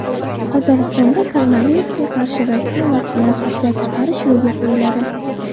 Qozog‘istonda koronavirusga qarshi Rossiya vaksinasi ishlab chiqarilish yo‘lga qo‘yiladi.